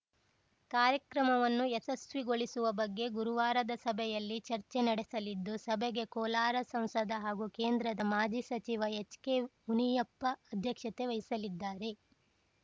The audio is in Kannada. ಕಾರ್ಯಕ್ರಮವನ್ನು ಯಶಸ್ವಿಗೊಳಿಸುವ ಬಗ್ಗೆ ಗುರುವಾರದ ಸಭೆಯಲ್ಲಿ ಚರ್ಚೆ ನಡೆಸಲಿದ್ದು ಸಭೆಗೆ ಕೋಲಾರ ಸಂಸದ ಹಾಗೂ ಕೇಂದ್ರದ ಮಾಜಿ ಸಚಿವ ಎಚ್‌ಕೆ ಮುನಿಯಪ್ಪ ಅಧ್ಯಕ್ಷತೆ ವಹಿಸಲಿದ್ದಾರೆ